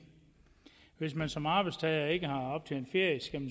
hvis man som arbejdstager ikke har optjent ferie skal